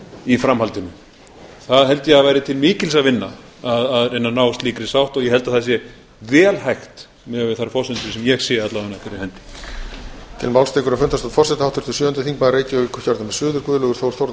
í framhaldinu það held ég að væri til mikils að vinna að reyna að ná slíkri sátt og ég held að það sé vel hægt miðað við þær forsendur sem ég sé fyrir henni